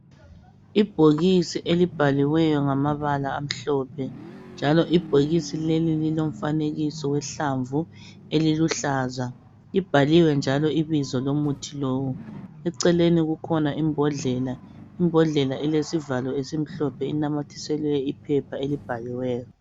Ibhokisi elibhaliweyo ngamabala amhlophe njalo ibhokisi leli lilomfanekiso wehlamvu eliluhlaza , libhaliwe njalo ibizo lomuthi lowu, eceleni kukhona imbodlela elesivalo esimhlophe enamathiselwe iphepha elibhaliweyo.